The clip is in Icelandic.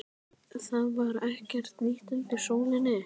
Það var ekkert nýtt undir sólinni.